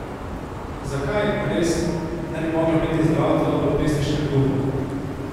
Zakaj, res, ne bi moglo biti zdravo telo v pesniškem duhu?